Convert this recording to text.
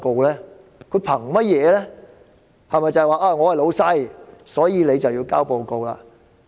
是否他們是"老闆"，所以她便要交報告？